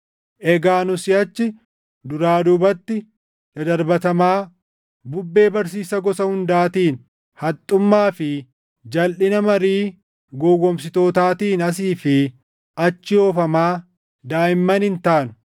Egaa nu siʼachi duraa duubatti dadarbatamaa bubbee barsiisa gosa hundaatiin, haxxummaa fi jalʼina marii gowwoomsitootaatiin asii fi achi oofamaa daaʼimman hin taanu.